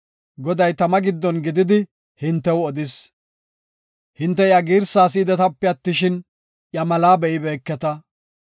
Goday tama giddon gididi hintew odis. Hinte iya girsa si7idetape attishin, iya malaa be7ibeeketa.